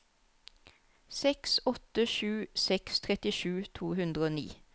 seks åtte sju seks trettisju to hundre og ni